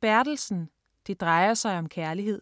Bertelsen, Jes: Det drejer sig om kærlighed